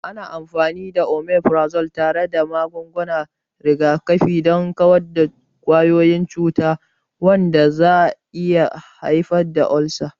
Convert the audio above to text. Ana amfani da Omeprazole tare da maganin rigakafi don kawar da kwayoyin cuta, wanda zai iya haifar da ulcers.